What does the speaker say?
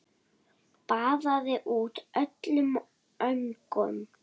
Baðaði út öllum öngum.